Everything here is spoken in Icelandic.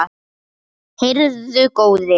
Heyrðu góði.